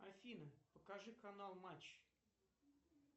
афина покажи канал матч